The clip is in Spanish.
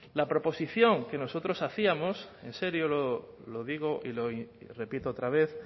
la proposición que nosotros hacíamos en serio lo digo y lo repito otra vez